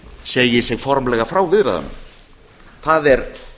segi sig formlega frá viðræðunum það er